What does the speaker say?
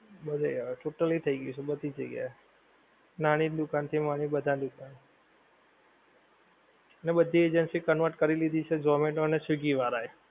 બધે આવે totally થઈ ગયું છે બધી જગ્યા એ નાની દુકાન થી માની ને બધાં દુકાન ને બધી agency convert કરી લીધી છે zomato ને swiggy વાળા એ